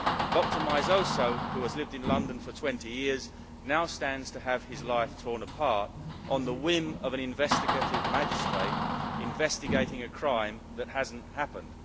Dr Meizoso, who has lived in London for 20 years, now stands to have his life torn apart on the whim of an investigative magistrate investigating a crime that has not happened.